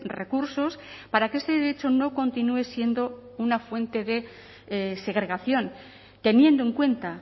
recursos para que este derecho no continúe siendo una fuente de segregación teniendo en cuenta